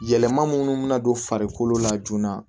Yɛlɛma minnu bɛna don farikolo la joona